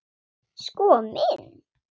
Sko minn.